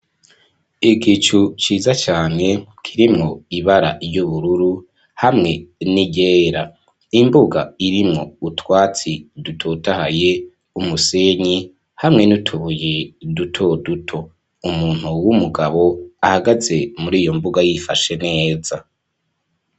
Igicu ciza cane kirimwo ibara y'ubururu hamwe n'igera imbuga irimwo utwatsi dutotahaye umusenyi hamwe n'utuhuye duto duto umuntu w'umugabo ahagaze muri iyo mbuga yifashe neza.